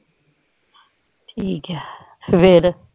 ਠੀਕ ਹੈ ਫੇਰ